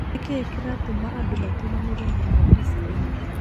Nĩkĩĩ kĩratũma andũmatũmanĩre mũno mbica ĩno?